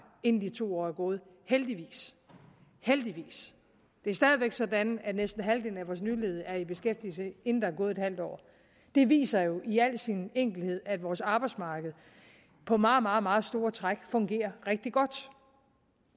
inden de to år er gået heldigvis heldigvis det er stadig væk sådan at næsten halvdelen af vores nyledige er i beskæftigelse inden der er gået halvt år det viser jo i al sin enkelhed at vores arbejdsmarked på meget meget meget store træk fungerer rigtig godt